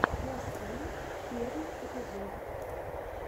мосфильм первый эпизод